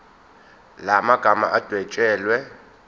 la magama adwetshelwe